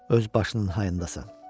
Öz başının hayındasan.